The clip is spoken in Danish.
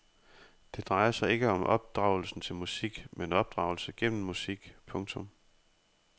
Det drejer sig ikke om opdragelse til musik men opdragelse gennem musik. punktum